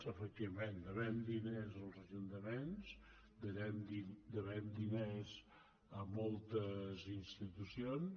efectivament devem diners als ajuntaments devem diners a moltes institucions